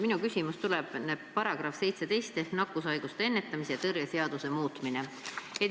Minu küsimus tuleb § 17 kohta, mis puudutab nakkushaiguste ennetamise ja tõrje seaduse muutmist.